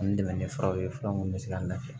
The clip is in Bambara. Ani dɛmɛ ni furaw ye fura minnu bɛ se ka nafan